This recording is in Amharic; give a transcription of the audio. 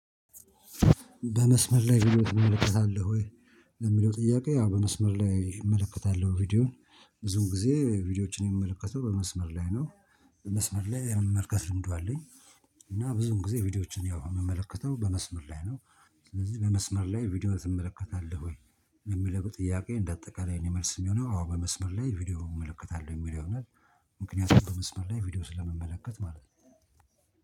በመስመር ላይ መመልከት አለህ ወይ? ለሚለው ጥያቄ ያው በመስመር ላይ እመለከታለሁ ቪዲዮውን ብዙውን ጊዜ ቪዲዮዎችን የምመለከተው በመስመር ላይ ነው። በመስመር ላይ የመመለከት ልምዱ አለኝ። እና ብዙን ጊዜ ቪዲዮዎችን ያው የምመለከተው በመስመር ላይ ነው። ስለዚህ በመስመር ላይ ቪዲዮ ትመለከታለህ ወይ? የሚለው ጥያቄ እንደ አጠቃላይ የኔ መልስ የሚሆነው አዎ በመስመር ላይ ቪዲዮ እመለከታለሁ የሚለው ይሆናል። ምክንያቱም በመስመር ላይ ቪዲዮ ስለመመለከት ማለት ነው